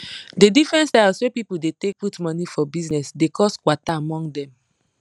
di different styles wey people dey take dey put money for bizness dey cos kwata among dem